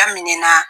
Daminɛna